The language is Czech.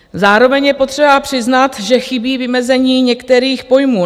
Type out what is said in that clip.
Zároveň je potřeba přiznat, že chybí vymezení některých pojmů.